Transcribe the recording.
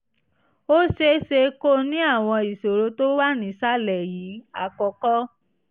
ó ṣe é ṣe kó ní àwọn ìṣòro tó wà nísàlẹ̀ yìí: àkọ́kọ́